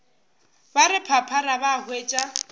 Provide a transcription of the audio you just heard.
ba re phaphara ba hwetša